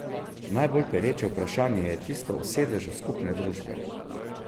Najbolj pereče vprašanje je tisto o sedežu skupne družbe.